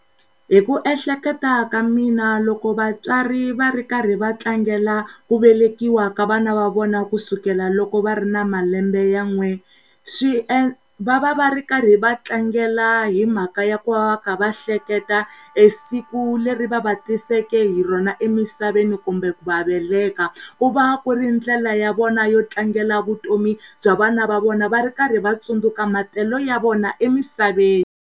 Hiku ehleketa ka mina loko vatswari va ri karhi va tlangela ku velekiwa ka vana va vona kusukela loko va ri na malembe ya n'we swi endla, va va va ri karhi va tlangela himhaka ya ku va va kha va hleketa siku leri va va tiseke hi rona emisaveni kumbe ku va veleka ku va ku ri ndlela ya vona yo tlangela vutomi bya vana va vona va rikarhi va tsundzuka matelo ya vona emisaveni.